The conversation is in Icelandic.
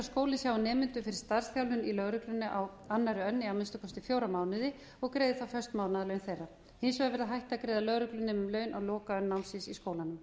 skólinn sjái nemendum fyrir starfsþjálfun í lögreglunni á annað önn í að minnsta kosti fjóra mánuði og greiði sex mánaða laun þeirra hins vegar verður hætt að greiða lögreglunemum laun á lokaönn námsins í skólanum